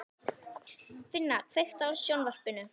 Finna, kveiktu á sjónvarpinu.